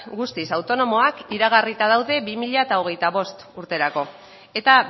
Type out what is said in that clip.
guztiz autonomoak iragarrita daude bi mila hogeita bost urterako eta